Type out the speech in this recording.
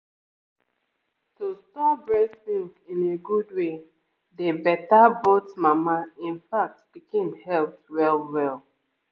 to store breast milk in a good way dey better both mama in fact pikin health well-well